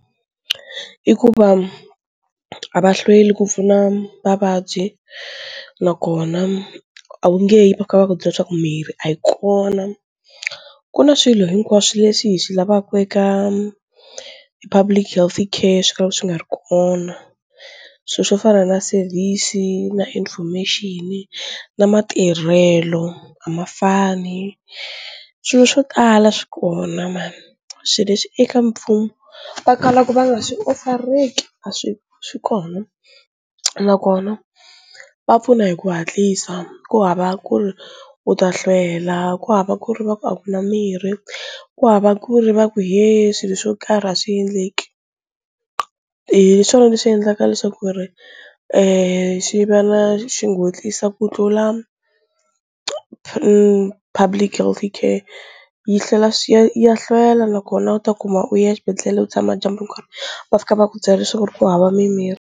I ku va a va hlweli ku pfuna vavabyi nakona a wu nge yi va fika va ku byela leswaku mirhi a yi kona ku na swilo hinkwaswo leswi hi swi lavaka eka Public Healthcare swo ka swi nga ri kona, swilo swo fana na service i na information na matirhelo a ma fani, swilo swo tala swi kona mani swilo leswi eka mfumo va kalaka va nga swi offer-eki a swi swi kona, nakona va pfuna hi ku hatlisa ku hava ku ri u ta hlwela ku hava ku ri va ku a kuna mirhi ku hava ku ri va ku he swilo swo karhi a swi endleki, hi swona leswi endlaka leswaku ku ri e xi va na xi nghotlisa ku tlula Public Healthcare yi hlwela ya hlwela nakona u ta kuma u ya exibedhlele u tshama dyambu hinkwaro va fika va ku byela leswaku ku hava mimirhi.